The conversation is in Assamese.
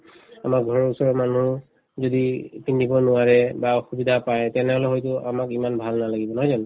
আমাৰ ঘৰৰ ওচৰৰ মানুহ যদি কিনিব নোৱাৰে বা অসুবিধা পাই তেনেহলে হয়তো আমাক ইমান ভাল নালাগিব নহয় জানো